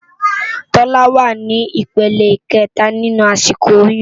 Tola wá ni ipélé ikètá ninú àsikó óyùn